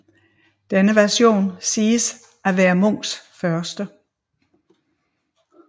Denne version siges at være Munchs første